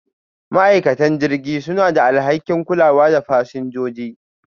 ma'aikatan jirgin suna da alhakin kulawa da fasinjoji.